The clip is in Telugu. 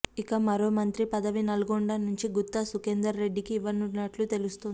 ఇక మరో మంత్రి పదవి నల్గొండ నుంచి గుత్తా సుఖేందర్ రెడ్డికి ఇవ్వనున్నట్లు తెలుస్తుంది